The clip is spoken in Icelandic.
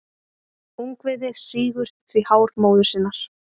Ungviðið sýgur því hár móður sinnar.